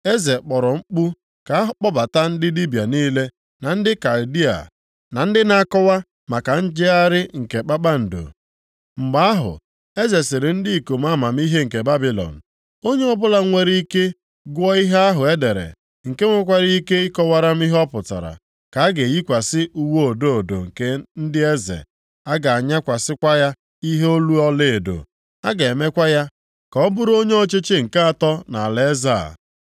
Eze kpọrọ mkpu ka a kpọbata ndị dibịa niile na ndị Kaldịa, na ndị na-akọwa maka njegharị nke kpakpando. Mgbe ahụ eze sịrị ndị ikom amamihe nke Babilọn, “Onye ọbụla nwere ike gụọ ihe ahụ e dere, nke nwekwara ike ịkọwara m ihe ọ pụtara, ka a ga-eyikwasị uwe odo odo nke ndị eze. A ga-anyakwasị ya ihe olu ọlaedo. A ga-emekwa ya ka ọ bụrụ onye ọchịchị nke atọ nʼalaeze a.”